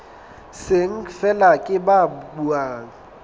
seng feela ke ba buang